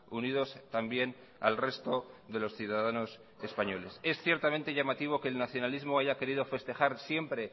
unidos también al resto de los ciudadanos españoles es ciertamente llamativo que el nacionalismo haya querido festejar siempre